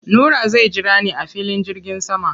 Nura zai jira ni a filin jirgin sama.